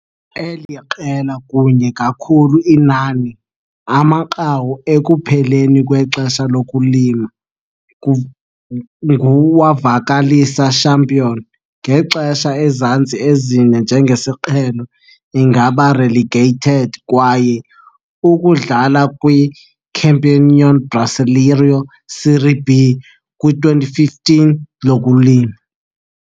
Eli qela kunye kakhulu inani amanqaku ekupheleni kwexesha lokulima ngu wavakalisa champion, ngexesha ezantsi ezine njengesiqhelo ingaba relegated kwaye ukudlala kwi - Campeonato Brasileiro Série B kwi-2015 lokulima.